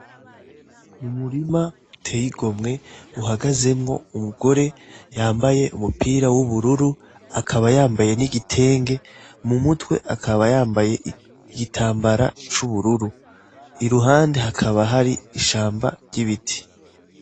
Ni umurima uteye igomwe uhagazemwo umugore yambaye umupira w'ubururu akaba yambaye n'igitenge mu mutwe akaba yambaye igitambara c'ubururu, iruhande hakaba hari ishamba ry'ibiti.